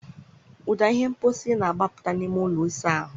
Ụda ihe mposi na-agbapụta n'ime ụlọ ịsa ahụ.